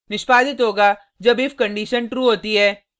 निष्पादित होगा जब if कंडिशन true होती है